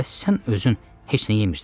Bəs sən özün heç nə yemirsən?